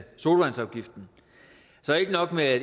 sodavandsafgiften så ikke nok med at